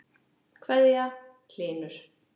kveðja, Hlynur.